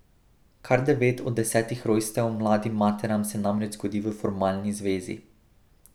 Kar devet od desetih rojstev mladim materam se namreč zgodi v formalni zvezi.